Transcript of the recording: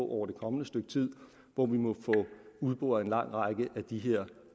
over det kommende stykke tid hvor vi må få udboret en lang række af de her